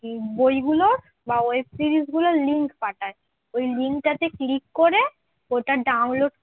বইগুলোর বা web series গুলোর link পাঠায় ওই link টাতে click করে ওটা download